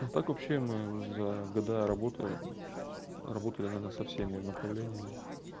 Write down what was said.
а так вообще мы за года работы работаем иногда со всеми направлениями